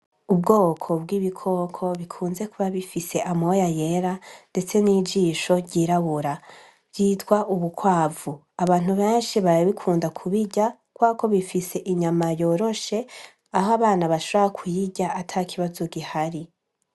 Ubwoko bw'ibikoko bikunze kuba bifise amoya yera ndetse nijisho ryirabura bwitwa ubukwavu abantu benshi barabikunda kubirya kubera ko bifise inyama yoroshe aho abana bashobora kuyirya atakibazo gihari.